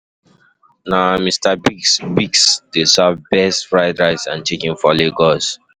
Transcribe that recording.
Na Mr. Biggs Biggs dey serve best fried rice and chicken for Lagos.